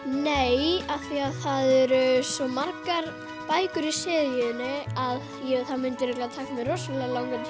nei af því að það eru svo margar bækur í seríunni að það myndi örugglega taka mig rosalega langan